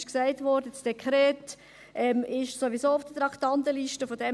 Es wurde gesagt, dass das AND sowieso auf der Traktandenliste steht.